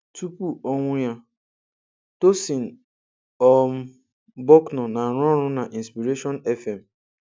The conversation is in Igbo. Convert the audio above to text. Tupu ọnwụ ya, Tosyn um Bucknor na-arụ ọrụ na inspiration FM